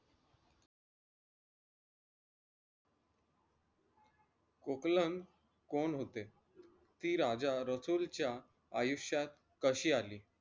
कोकलन कोण होते? ती राजा रसूलच्या आयुष्यात कशी अली?